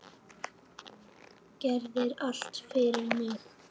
Gerðir allt fyrir mig.